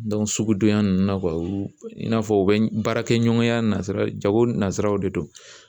sugudonyan ninnu na u in n'a fɔ u bɛ baarakɛɲɔgɔnya nasara jago nasaraw de don